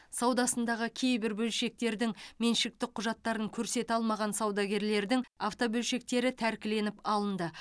саудасындағы кейбір бөлшектердің меншіктік құжаттарын көрсете алмаған саудагерлердің автобөлшектері тәркіленіп алынды